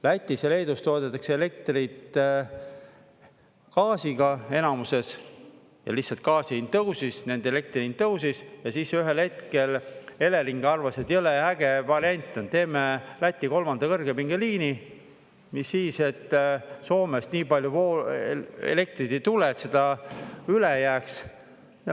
Lätis ja Leedus toodetakse elektrit gaasiga enamuses ja lihtsalt gaasi hind tõusis, nende elektri hind tõusis, ja siis ühel hetkel Elering arvas, et jõle äge variant on: teeme Läti kolmanda kõrgepingeliini, mis siis, et Soomest nii palju elektrit ei tule, et seda üle jääks.